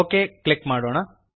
okay click ಮಾಡೋಣ